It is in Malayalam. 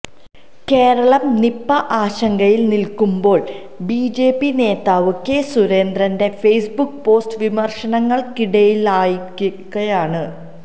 കേരളം നിപ്പാ ആശങ്കയിൽ നിൽക്കുമ്പോൾ ബിജെപി നേതാവ് കെ സുരേന്ദ്രന്റെ ഫേസ്ബുക്ക് പോസ്റ്റ് വിമർശനങ്ങൾക്കിടയാക്കിയിരിക്കുകയാണ്